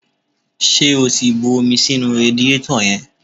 Ṣé o ti bu omi sínú radiétọ̀ yẹn?